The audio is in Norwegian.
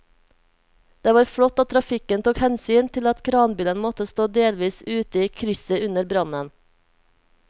Det var flott at trafikken tok hensyn til at kranbilen måtte stå delvis ute i krysset under brannen.